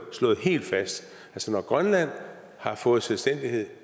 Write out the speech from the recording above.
slået helt fast når grønland har fået selvstændighed